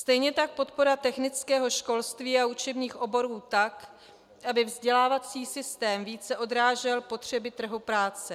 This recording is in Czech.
Stejně tak podpora technického školství a učebních oborů tak, aby vzdělávací systém více odrážel potřeby trhu práce.